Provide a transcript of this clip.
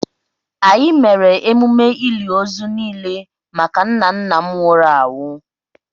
Anyị mere emume ili ozu niile maka nna nna m nwụrụ anwụ